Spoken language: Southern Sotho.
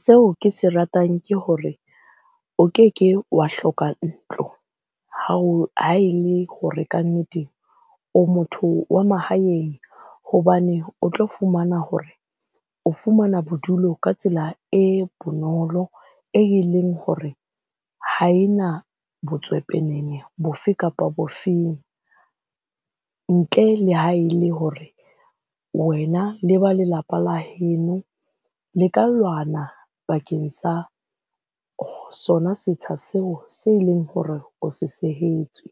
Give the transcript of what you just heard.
Seo ke se ratang ke hore o keke wa hloka ntlo ha o ha e le hore kannete o motho wa mahaeng. Hobane o tlo fumana hore o fumana bodulo ka tsela e bonolo, e leng hore ha e botswepenene bofe kapa bofeng. Ntle le ha e le hore wena le ba lelapa la heno le ka lwana bakeng sa sona setsha seo se leng hore o se sehetswe.